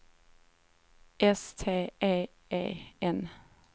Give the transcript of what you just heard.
S T E E N